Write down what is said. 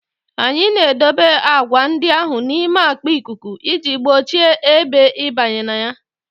Anyị na-edebe agwa ndị ahụ n'ime akpa ikuku iji gbochie ebe ịbanye na ya